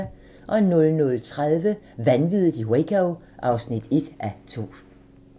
00:30: Vanviddet i Waco (1:2)